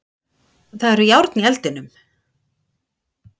Það eru járn í eldinum.